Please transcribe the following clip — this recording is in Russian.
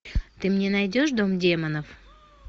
ты мне найдешь дом демонов